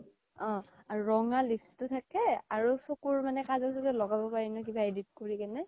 অ ৰঙা lips টো থাকে আৰু চকুৰ মানে কাজল চাজল কিবা edit কৰি কেনে